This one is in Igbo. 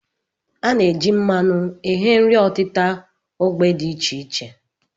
A na-eji mmanụ eghe nri ọtịta ógbè dị iche iche